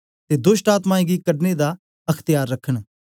ते दोष्टआत्मायें गी कढने दा अख्त्यार रखन